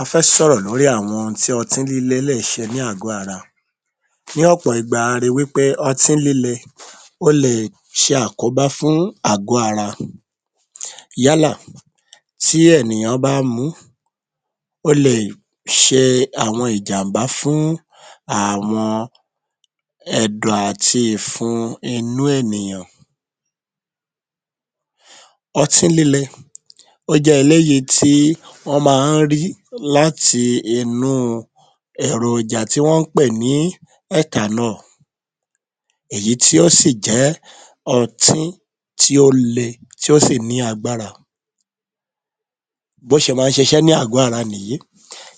A fẹ́ sọ̀rọ̀ lórí àwọn ohun tí ọtí líle lè ṣe ní àgó ara. Ní ọ̀pọ̀ ìgba la ri wí pé ọtí líle ó le è ṣe àkóbá fún àgó ara yálà tí ènìyàn bá ń mu un ó lè ṣe àwọn ìjàm̀bá fún àwọn ẹ̀dọ̀ àti ìfun inú ènìyàn. Ọtí líle jẹ́ eléyìí tí wọ́n ma ń rí láti inú èròjà tí wọ́n ń pè ní ‘’ethanol’’ èyí tí ó sì jẹ́ ọtí tí ó le tí ó sì lágbára bí ó ṣe ma ń ṣiṣẹ́ ní àgó ara nìyí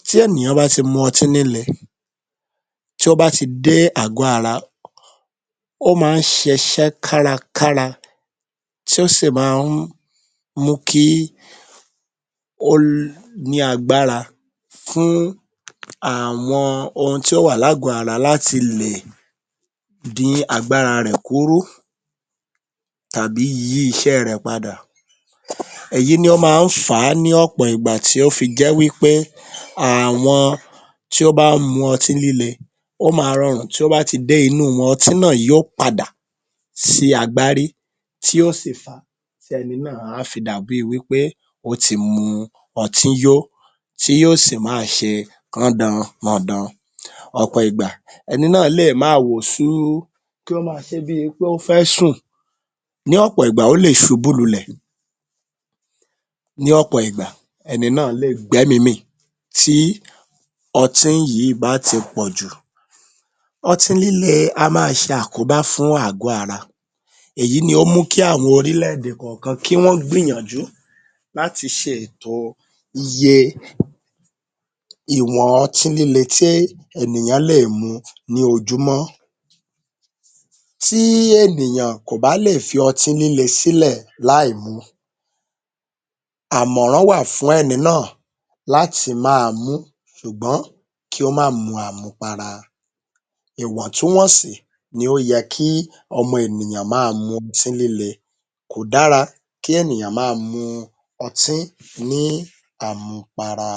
tí ènìyàn bá ti mu ọtí líle tí ó bá ti dé àgó ara ó ma ń ṣiṣẹ́ kárakára tí ó sì ma ń mú kí ó ní agbára fún àwọn ohun tí o wà lágó ara láti lè dín agbára rẹ̀ kúrú tàbí yí iṣẹ́ ẹ rẹ̀ padà èyí ni ó ma ń fà á ní ọ̀pọ̀ ìgbà tí ó fi j́ẹ́ wí pé àwọn tí ó bá ń mu ọtí líle ó ma rọrùn tí ó bá ti dé inú wọn, ọtí náà yó padà sí agbárí èyí tí yó sì fà á fi tí ẹni náà á fi dà bí i wí pé ó ti mu ọtí yó tí yó sì máa ṣe rándan-ràdan. Ọ̀pọ̀ ìgbà ẹni náà lè máa wò suu kí ó ma ṣe bí i pé ó fẹ́ sùn, ní ọ̀pọ̀ ìgbà ó lè ṣubú lulẹ̀, ní ọ̀pọ̀ ìgbà ẹni náà lè gbẹ́mí mì tí ọtí yí bá ti pọ̀jù. Ọtí líle a máa ṣe àkóbá fún àgó ara èyí ni ó mú kí àwọn orílẹ̀-èdè kọ̀ọ̀kàn kí wọ́n gbìyànjú láti ṣe ètò iye ìwọ̀n ọtí líle tí ènìyàn lè mu ní ojúmọ́. Tí ènìyàn kò bá lè fi ọtí líle sílẹ̀ láìmu àmọ̀rán wà fún ẹni náà láti máa mu ún ṣùgbọ́n kí ó má mu àmupara. Ìwọ̀ntúnwọ̀nsì ni ó yẹ kí ọmọ ènìyàn máa mu ọtí líle, kò dára kí ènìyàn máa mu ọtí ní àmupara.